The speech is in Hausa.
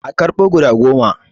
A karɓo guda goma